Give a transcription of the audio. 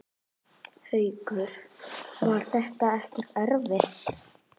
Haukur: Var það ekkert erfitt?